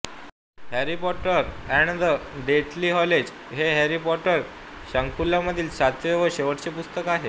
Harry Potter and the Deathly Hallows हे Harry Potter शृंखलेमधील सातवे व शेवटचे पुस्तक आहे